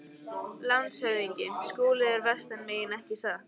LANDSHÖFÐINGI: Skúli er vestan megin, ekki satt?